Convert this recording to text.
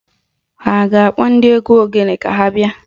Ha a ga-akpọ ndị egwu ogene ka ha bịa?